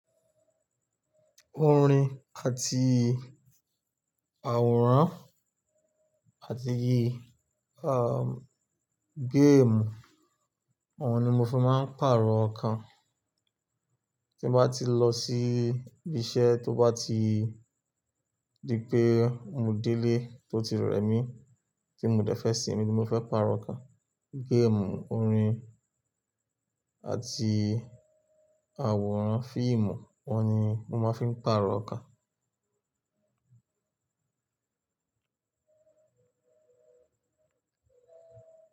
Orin àti àwòrán àti yi, um, géèmù, o ni mo fi máa ń pàrọ̀ ọkàn. Tín bá ti lọ sí ibi iṣẹ́, tó bá ti di pé mo délé tó ti rẹ mí, tí mo dẹ́fẹ́ sinmi ti mo fẹ́ pàrọ̀ ọkàn. Géèmù, orin àti àwòrán fíìmù, o ni mo máa ń fiń pàrọ̀ ọkàn.